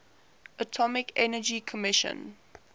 atomic energy commission